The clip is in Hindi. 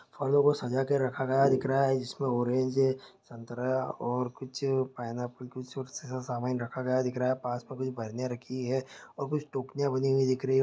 फलों को सजा के रखा गया दिख रहा है जिसमें ऑरेंज है संतरा और कुछ पाइनएप्पल कुछ रखा गया दिख रहा है पास में कुछ रखी गई है और कुछ टोकरिया बनी हुई दिख रही है।